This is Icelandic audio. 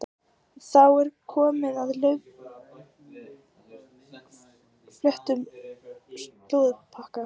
Þá er komið að laufléttum slúðurpakka.